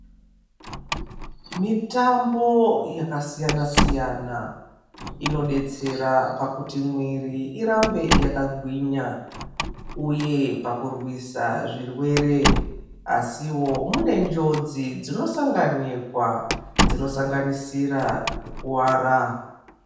Mitambo yakasiyana-siyana inobetsera pakuti mwiri irambe yakagwinya, uye pakurwisa zvirwere asivo munenjodzi dzinosanganikwa dzinosanganisira kukuvara.